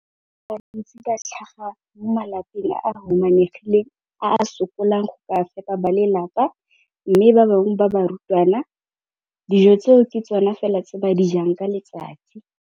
Bana ba le bantsi ba tlhaga mo malapeng a a humanegileng a a sokolang go ka fepa ba lelapa mme ba bangwe ba barutwana, dijo tseo ke tsona fela tse ba di jang ka letsatsi.